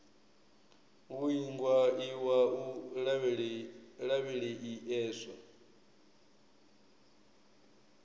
u iingwa iwa u lavheieswa